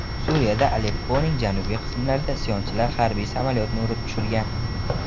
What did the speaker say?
Suriyada Alepponing janubiy qismlarida isyonchilar harbiy samolyotni urib tushirgan.